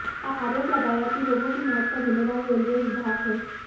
आरोप लगाया कि लोगों की मौत का जिम्मेदार रेलवे विभाग हैं